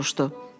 Çitlinq soruştu.